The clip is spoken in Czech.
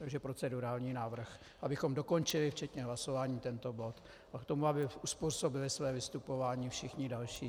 Takže procedurální návrh, abychom dokončili včetně hlasování tento bod a k tomu aby uzpůsobili své vystupování všichni další.